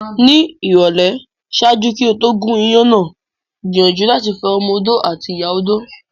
Ni ìrọ̀lẹ́, ṣaaju ki o to gún iyán náà gbiyanju lati fo ọmọ-odó ati ìyá odó